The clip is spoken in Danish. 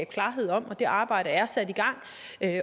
klarhed om det arbejde er sat i gang